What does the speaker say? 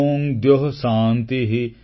ଓଁ ଦ୍ୟୋଃ ଶାନ୍ତିଃ